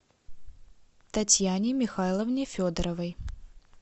татьяне михайловне федоровой